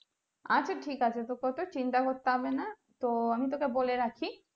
আচ্ছা ঠিক আছে তোকে অতো চিন্তা করতে হবেনা তো আমি তোকে বলে রাখি